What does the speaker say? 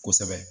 Kosɛbɛ